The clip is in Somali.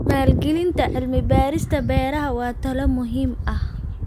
Maalgelinta cilmi-baarista beeraha waa tallaabo muhiim ah.